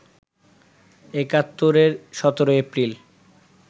একাত্তরের ১৭ এপ্রিল